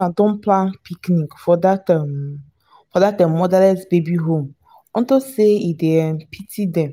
don plan picnic for dat um for dat um motherless baby home unto say e dey um pity dem